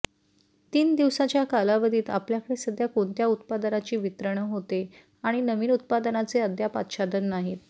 तीन दिवसांच्या कालावधीत आपल्याकडे सध्या कोणत्या उत्पादनांची वितरण होते आणि नवीन उत्पादनांचे अद्याप आच्छादन नाहीत